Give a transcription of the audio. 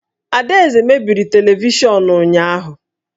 Adaeze mebiri televishọnụ ụnyahụ